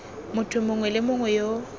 motho mongwe le mongwe yo